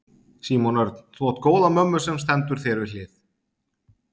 Símon Örn: Þú átt góða mömmu sem stendur þér við hlið?